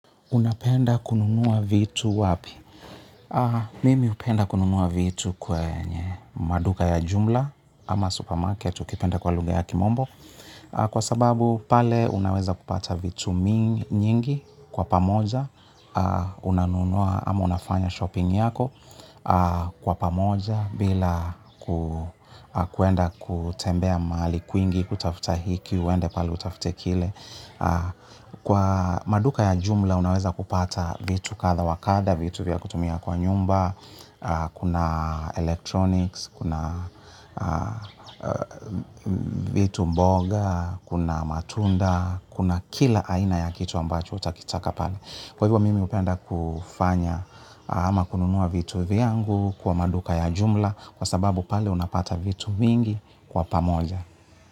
Unapenda kununua vitu wapi? Mimi hupenda kununua vitu kwenye maduka ya jumla ama supermarket ukipenda kwa lugha ya kimombo. Kwa sababu pale unaweza kupata vitu mingi nyingi kwa pamoja. Unanunua ama unafanya shopping yako kwa pamoja bila kuenda kutembea mahali kwingi, kutafuta hiki, uende pale utafute kile. Kwa maduka ya jumla unaweza kupata vitu katha wa kadha. Vitu vya kutumia kwa nyumba. Kuna electronics, kuna vitu mboga, kuna matunda. Kuna kila aina ya kitu ambacho utakitaka pale. Kwa hivyo mimi hupenda kufanya ama kununua vitu vyangu kwa maduka ya jumla kwa sababu pale unapata vitu mingi kwa pamoja.